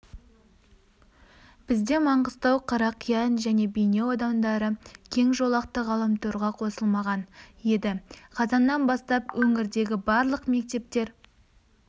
бізде маңғыстау қарақиян және бейнеу аудандары кең жолақты ғаламторға қосылмаған еді қазаннан бастап өңірдегі барлық мектептер